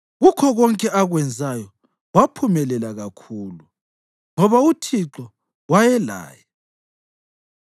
Kukho konke akwenzayo waphumelela kakhulu, ngoba uThixo wayelaye.